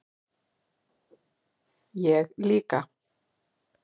Ég líka